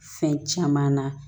Fɛn caman na